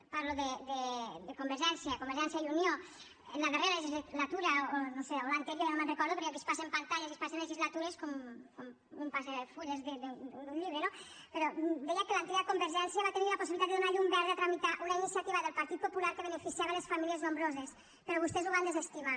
parlo de convergència de convergència i unió en la darrera legislatura o no ho sé l’anterior ja no me’n recordo perquè aquí es passen pantalles i es passen legislatures com un passa fulls d’un llibre no però deia que l’antiga convergència va tenir la possibilitat de donar llum verda a tramitar una iniciativa del partit popular que beneficiava les famílies nombroses però vostès ho van desestimar